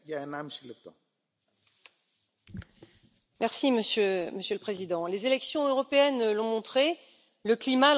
Monsieur le Président, les élections européennes l'ont montré, le climat, l'environnement, la santé, sont des préoccupations majeures pour nos concitoyens.